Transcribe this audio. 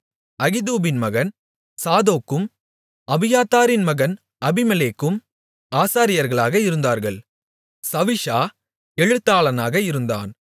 அகிதூபின் மகன் சாதோக்கும் அபியத்தாரின் மகன் அபிமெலேக்கும் ஆசாரியர்களாக இருந்தார்கள் சவிஷா எழுத்தாளனாக இருந்தான்